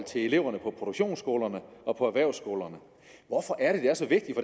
til eleverne på produktionsskolerne og på erhvervsskolerne hvorfor er det det er så vigtigt